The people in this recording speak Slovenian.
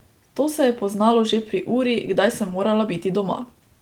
To se je poznalo že pri uri, kdaj sem morala biti doma.